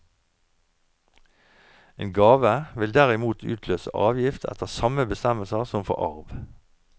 En gave vil derimot utløse avgift etter samme bestemmelser som for arv.